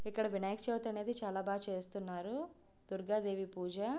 ఇక్కడ వినాయక చవితి అనేది చాలా బాగా చేస్తున్నారు దుర్గాదేవి పూజ.